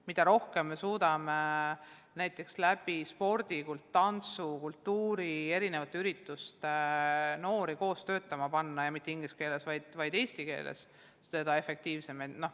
Mida rohkem me suudame läbi spordi, tantsu ja kultuuri, läbi erinevate ürituste noori koos töötama panna – ja mitte inglise keeles, vaid eesti keeles –, seda efektiivsem.